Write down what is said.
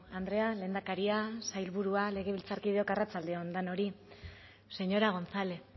andrea lehendakaria sailburua legebiltzarkideok arratsalde on denoi señora gonzález